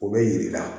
O bɛ yi yir'i la